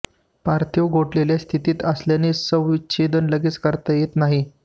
पार्थिव गोठलेल्या स्थितीत असल्याने शवविच्छेदन लगेच करता येत नाही